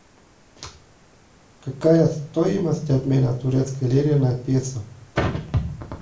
какая стоимость обмена турецкой лиры на песо